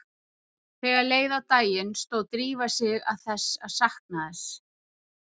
Þegar leið á daginn stóð Drífa sig að því að sakna þess